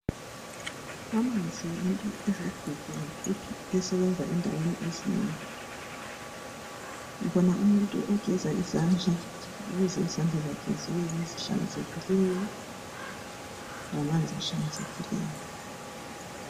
Amanzi yinto eligugu kakhulu esebenza endaweni ezinengi. Ngibona umuntu ogeza izandla ukuze izandla zakhe zibe ngezihlanzekileyo ngamanzi ahlanzekileyo